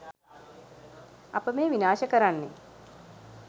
අප මේ විනාශ කරන්නේ